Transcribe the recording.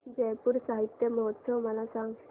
जयपुर साहित्य महोत्सव मला सांग